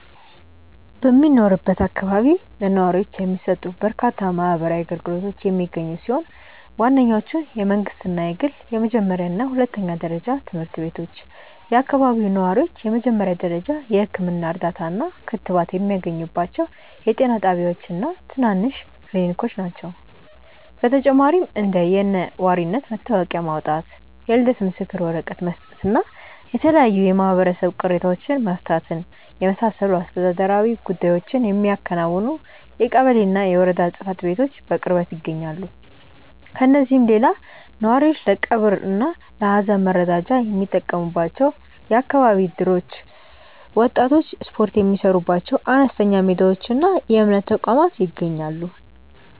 በሚኖርበት አካባቢ ለነዋሪዎች የሚሰጡ በርካታ ማህበራዊ አገልግሎቶች የሚገኙ ሲሆን፣ ዋነኞቹ የመንግሥትና የግል የመጀመሪያና ሁለተኛ ደረጃ ትምህርት ቤቶች፣ የአካባቢው ነዋሪዎች የመጀመሪያ ደረጃ የሕክምና እርዳታና ክትባት የሚያገኙባቸው የጤና ጣቢያዎችና ትናንሽ ክሊኒኮች ናቸው። በተጨማሪም እንደ የነዋሪነት መታወቂያ ማውጣት፣ የልደት ምስክር ወረቀት መስጠትና የተለያዩ የማህበረሰብ ቅሬታዎችን መፍታትን የመሳሰሉ አስተዳደራዊ ጉዳዮችን የሚያከናውኑ የቀበሌና የወረዳ ጽሕፈት ቤቶች በቅርበት ይገኛሉ። ከእነዚህም ሌላ ነዋሪዎች ለቀብርና ለሐዘን መረዳጃ የሚጠቀሙባቸው የአካባቢ እደሮች፣ ወጣቶች ስፖርት የሚሠሩባቸው አነስተኛ ሜዳዎችና የእምነት ተቋማት ይገኛሉ።